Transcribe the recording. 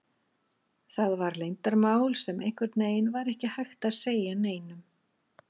Það var leyndarmál sem einhvern veginn var ekki hægt að segja neinum.